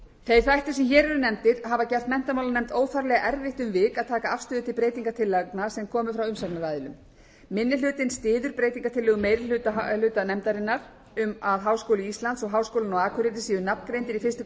þeir þættir sem hér eru nefndir hafa gert menntamálanefnd óþarflega erfitt um vik að taka afstöðu til breytingartillagna sem komu frá umsagnaraðilum minni hlutinn styður breytingartillögu meiri hluta nefndarinnar um að háskóli íslands og háskólinn á akureyri séu nafngreindir í fyrstu grein frumvarpsins